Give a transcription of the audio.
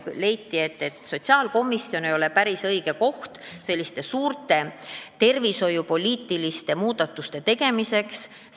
Leiti, et sotsiaalkomisjon ei ole päris õige koht selliste suurte tervishoiupoliitiliste muudatuste tegemiseks.